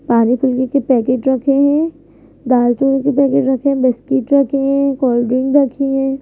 पानी फुल्की के पैकेट रखे हैं दाल चावल के पैकेट रखे हैं बिस्किट रखे हैं कोल्ड ड्रिंक रखी हैं।